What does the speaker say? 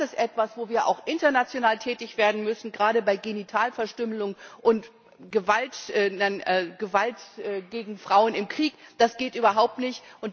Das ist etwas, wo wir auch international tätig werden müssen, gerade bei Genitalverstümmelung und Gewalt gegen Frauen im Krieg das geht überhaupt nicht.